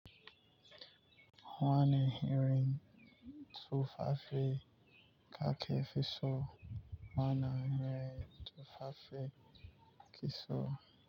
Wani irin tufafe kake fi so? Wani irin tufafe ki so?